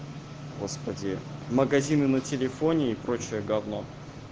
господи магазины на телефоне и прочее гавно